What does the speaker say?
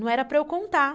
Não era para eu contar.